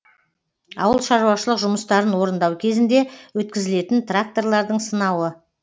ауыл шаруашылық жұмыстарын орындау кезінде өткізілетін тракторлардың сынауы